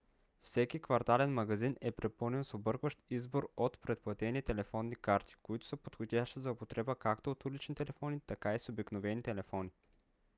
всеки квартален магазин е препълнен с объркващ избор от предплатени телефонни карти които са подходящи за употреба както от улични телефони така и с обикновени телефони